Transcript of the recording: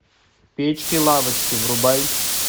печки лавочки врубай